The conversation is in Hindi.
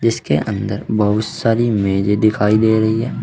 इसके अंदर बहुत सारी मेजे दिखाई दे रही हैं।